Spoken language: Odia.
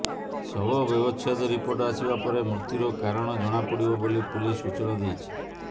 ଶବବ୍ୟବଚ୍ଛେଦ ରିପୋର୍ଟ ଆସିବା ପରେ ମୃତ୍ୟୁର କାରଣ ଜଣାପଡ଼ିବ ବୋଲି ପୁଲିସ୍ ସୂଚନା ଦେଇଛି